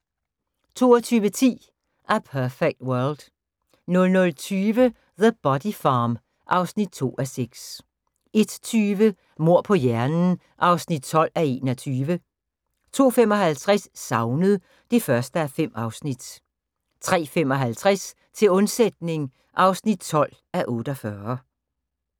22:10: A Perfect World 00:20: The Body Farm (2:6) 01:20: Mord på hjernen (12:21) 02:55: Savnet (1:5) 03:55: Til undsætning (12:48)